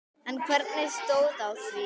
En hvernig stóð á því?